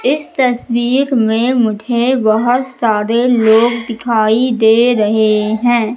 इस तस्वीर में मुझे बहोत सारे लोग दिखाई दे रहे है।